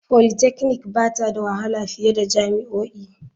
Polytechnic ba ta da wahala fiye da jami'o'i.